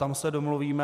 Tam se domluvíme.